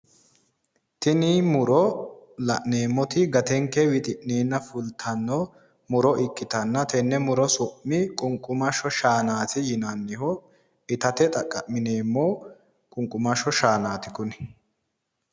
Tini muro gantenke fultanno murote danaati qunqumasho shaanaati